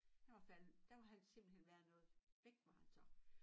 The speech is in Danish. Han var faldet der var han simpelthen være noget væk var han så